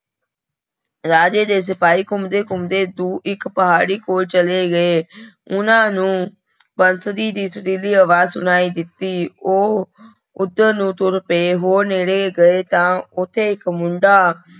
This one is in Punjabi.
ਰਾਜੇ ਦੇ ਸਿਪਾਹੀ ਘੁੰਮਦੇ ਘੁੰਮਦੇ ਦੂ ਇੱਕ ਪਹਾੜੀ ਕੋਲ ਚਲੇ ਗਏ ਉਹਨਾਂ ਨੂੰ ਬੰਸਰੀ ਦੀ ਸੁਰੀਲੀ ਆਵਾਜ਼ ਸੁਣਾਈ ਦਿੱਤੀ, ਉਹ ਉਧਰ ਨੂੰ ਤੁਰ ਪਏ ਹੋਰ ਨੇੜੇ ਗਏ ਤਾਂ ਉੱਥੇ ਇੱਕ ਮੁੰਡਾ,